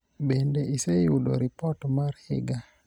bende iseyudo ripot mar higa ?